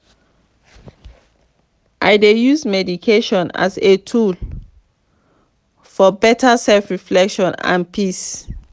i dey use meditation as a tool for better self-reflection and peace.